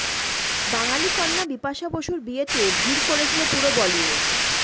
বাঙালি কন্যা বিপাশা বসুর বিয়েতে ভিড় করেছিল পুরো বলিউড